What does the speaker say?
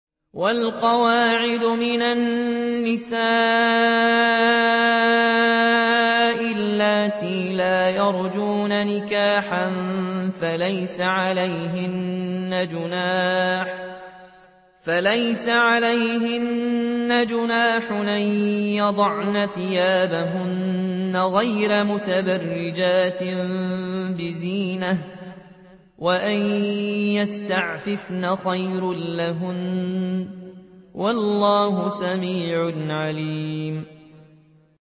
وَالْقَوَاعِدُ مِنَ النِّسَاءِ اللَّاتِي لَا يَرْجُونَ نِكَاحًا فَلَيْسَ عَلَيْهِنَّ جُنَاحٌ أَن يَضَعْنَ ثِيَابَهُنَّ غَيْرَ مُتَبَرِّجَاتٍ بِزِينَةٍ ۖ وَأَن يَسْتَعْفِفْنَ خَيْرٌ لَّهُنَّ ۗ وَاللَّهُ سَمِيعٌ عَلِيمٌ